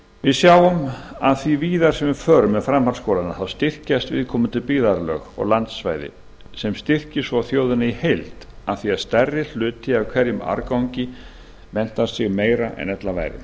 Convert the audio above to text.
við sjáum að því víðar sem við förum með framhaldsskólana styrkjast viðkomandi byggðarlög og landsvæði sem styrkir svo þjóðina í heild af því að stærri hluti af hverjum árgangi menntar sig meira en ella væri